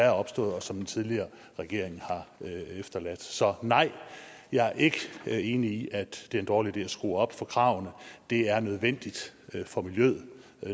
er opstået og som den tidligere regering har efterladt så nej jeg er ikke enig i at det er en dårlig idé at skrue op for kravene det er nødvendigt for miljøet